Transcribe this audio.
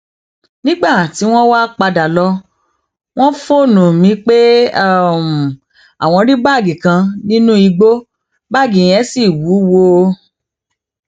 nígbà tí wọn wáá padà lọ wọn fóònù um mi pé àwọn rí báàgì kan nínú igbó báàgì yẹn ṣì wúwo um